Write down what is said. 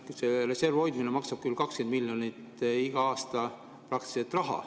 Jah, see reservi hoidmine maksab küll 20 miljonit igal aastal.